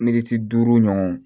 Militi duuru ɲɔgɔn